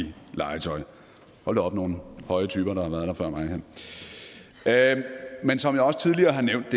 legetøj hold da op nogle høje typer der har været her før mig men som jeg også tidligere har nævnt